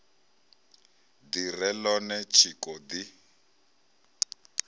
ḓi re ḽone tshiko ḓi